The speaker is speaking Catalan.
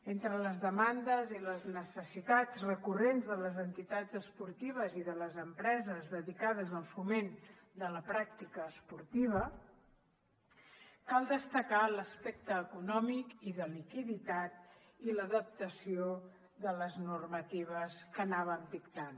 entre les demandes i les necessitats recurrents de les entitats esportives i de les empreses dedicades al foment de la pràctica esportiva cal destacar l’aspecte econòmic i de liquiditat i l’adaptació de les normatives que anàvem dictant